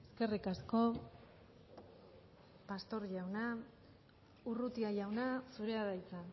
eskerrik asko pastor jauna urrutia jauna zurea da hitza